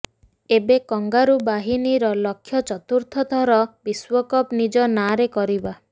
ଏବେ କଙ୍ଗାରୁ ବାହିନୀର ଲକ୍ଷ୍ୟ ଚତୁର୍ଥ ଥର ବିଶ୍ୱକପ୍ ନିଜ ନାଁରେ କରିବା